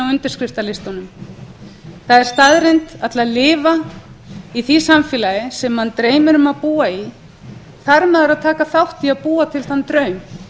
það er staðreynd að til þess að lifa í því samfélagi sem mann dreymir um að búa í þarf maður að taka þátt í að búa til þann draum